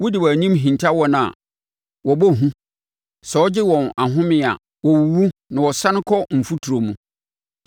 Wode wʼanim hinta wɔn a, wɔbɔ hu; sɛ wogye wɔn ahomeɛ a, wɔwuwu na wɔsane kɔ mfuturo mu.